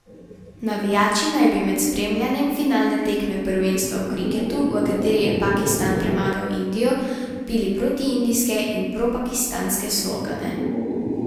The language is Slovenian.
Navijači naj bi med spremljanjem finalne tekme prvenstva v kriketu, v kateri je Pakistan premagal Indijo, vpili protiindijske in propakistanske slogane.